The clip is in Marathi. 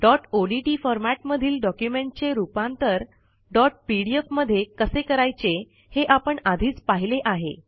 डॉट ओडीटी फॉरमॅट मधील डॉक्युमेंटचे रूपांतर डॉट पीडीएफ मध्ये कसे करायचे हे आपण आधीच पाहिले आहे